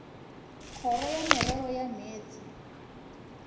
kgoro ya merero ya meetse